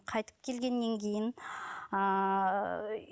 қайтып келгеннен кейін